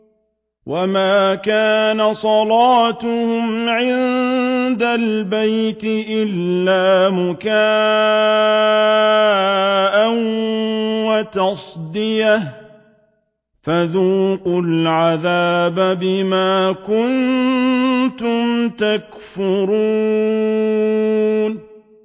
وَمَا كَانَ صَلَاتُهُمْ عِندَ الْبَيْتِ إِلَّا مُكَاءً وَتَصْدِيَةً ۚ فَذُوقُوا الْعَذَابَ بِمَا كُنتُمْ تَكْفُرُونَ